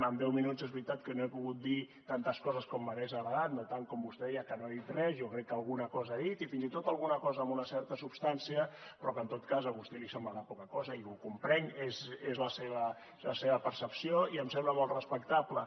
en deu minuts és veritat que no he pogut dir tantes coses com m’hagués agradat no tant com el que vostè deia que no he dit res jo crec que alguna cosa he dit i fins i tot alguna cosa amb una certa substància però que en tot cas a vostè li semblarà poca cosa i ho comprenc és la seva percepció i em sembla molt respectable